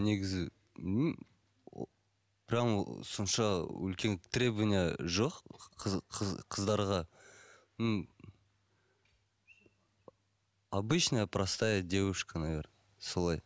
негізі ыыы прямо сонша үлкен требование жоқ қыздарға ыыы обычная простая девушка наверное солай